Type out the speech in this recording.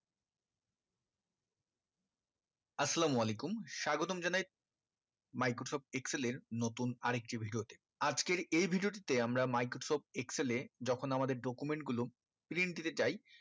আসসালাম ওয়ালেকুম স্বাগতম জানাই microsoft excel নতুন আরেকটি video তে আজকের এই video টিতে আমরা microsoft excel যখন আমাদের document গুলো perintah চাই